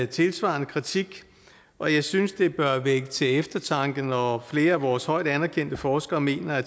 tilsvarende kritik og jeg synes det bør vække til eftertanke når flere af vores højt anerkendte forskere mener at